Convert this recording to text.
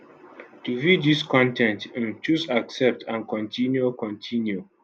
to view dis con ten t um choose accept and continue continue